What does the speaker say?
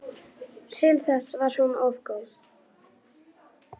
Til þess var hún of góð.